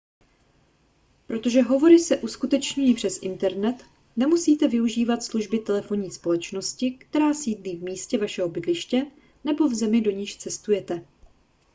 protože hovory se uskutečňují přes internet nemusíte využívat služby telefonní společnosti která sídlí v místě vašeho bydliště nebo v zemi do níž cestujete